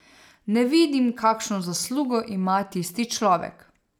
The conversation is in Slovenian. Ne vidim, kakšno zaslugo ima tisti človek.